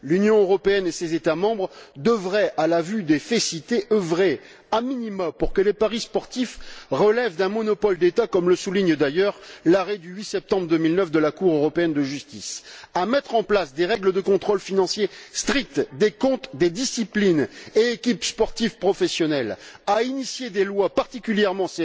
L'Union européenne et ses États membres devraient, à la vue des faits cités, œuvrer a minima pour que les paris sportifs relèvent d'un monopole d'État, comme le souligne d'ailleurs l'arrêt du 8 septembre 2009 de la Cour européenne de justice, mettre en place des règles de contrôle financier strictes des comptes des disciplines et équipes sportives professionnelles, élaborer des lois particulièrement